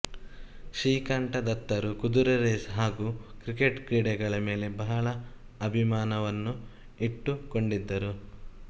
ಶ್ರೀಕಂಠದತ್ತರು ಕುದುರೆ ರೇಸ್ ಹಾಗೂ ಕ್ರಿಕೆಟ್ ಕ್ರೀಡೆಗಳ ಮೇಲೆ ಬಹಳ ಅಭಿಮಾನವನ್ನು ಇಟ್ಟುಕೊಂಡಿದ್ದರು